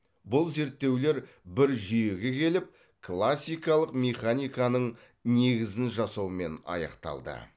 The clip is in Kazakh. бұл зерттеулер бір жүйеге келіп классикалық механиканың негізін жасаумен аяқталды